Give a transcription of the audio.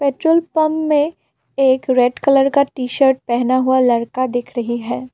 Petrol pump में एक red colour का टी शर्ट पहना हुआ लड़का दिख रही है।